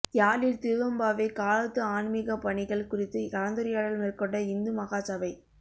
யாழில் திருவெம்பாவை காலத்து ஆன்மீக பணிகள் குறித்து கலந்துரையாடல் மேற்கொண்ட இந்துமகாசபை